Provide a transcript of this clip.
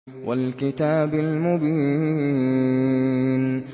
وَالْكِتَابِ الْمُبِينِ